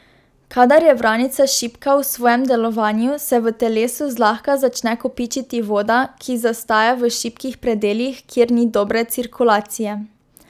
Kadar je vranica šibka v svojem delovanju, se v telesu zlahka začne kopičiti voda, ki zastaja v šibkih predelih, kjer ni dobre cirkulacije.